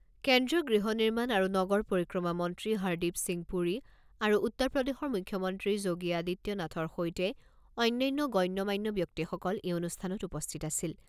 কেন্দ্ৰীয় গৃহ নিৰ্মাণ আৰু নগৰ পৰিক্ৰমা মন্ত্ৰী হৰদীপ সিং পুৰী আৰু উত্তৰ প্ৰদেশৰ মুখ্যমন্ত্ৰী যোগী আদিত্য নাথৰ সৈতে অন্যান্য গণ্য মান্য ব্যক্তিসকল এই অনুষ্ঠানত উপস্থিত আছিল।